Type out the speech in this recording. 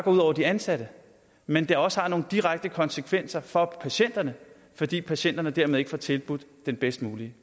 ud over de ansatte men det har også nogle direkte konsekvenser for patienterne fordi patienterne dermed ikke får tilbudt den bedst mulige